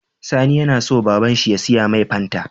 Sani yAna so baban shi ya siya mai fanta